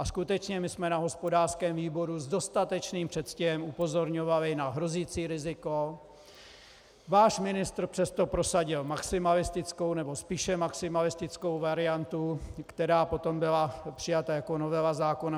A skutečně, my jsme na hospodářském výboru s dostatečným předstihem upozorňovali na hrozící riziko, váš ministr přesto prosadil maximalistickou, nebo spíše maximalistickou variantu, která potom byla přijata jako novela zákona.